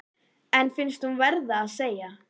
En finnst hún verða að segja